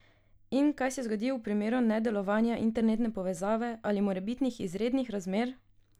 In kaj se zgodi v primeru nedelovanja internetne povezave ali morebitnih izrednih razmer?